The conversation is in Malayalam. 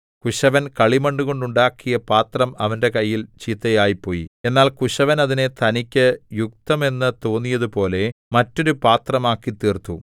കുശവൻ കളിമണ്ണുകൊണ്ട് ഉണ്ടാക്കിയ പാത്രം അവന്റെ കയ്യിൽ ചീത്തയായിപ്പോയി എന്നാൽ കുശവൻ അതിനെ തനിക്കു യുക്തമെന്നു തോന്നിയതുപോലെ മറ്റൊരു പാത്രമാക്കിത്തീർത്തു